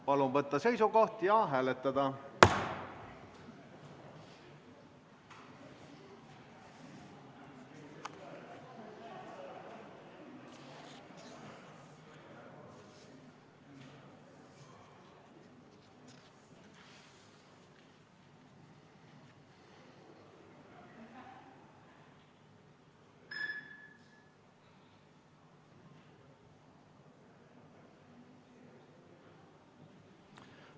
Palun võtta seisukoht ja hääletada!